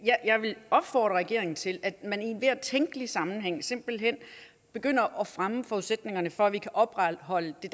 jeg vil opfordre regeringen til at man i enhver tænkelig sammenhæng simpelt hen begynder at fremme forudsætningerne for at vi kan opretholde det